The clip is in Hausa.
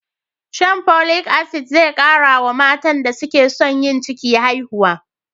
Shan Folic Asidic zai kara wa matan da suke son yin ciki haihuwa.